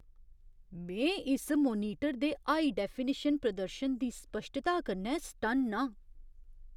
में इस मोनीटर दे हाई डैफिनिशन प्रदर्शन दी स्पश्टता कन्नै सटन्न आं।